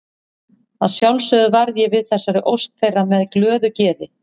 Að sjálfsögðu varð ég við þessari ósk þeirra með glöðu geði.